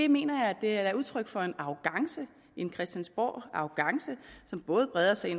mener at det er udtryk for en christiansborgarrogance som både breder sig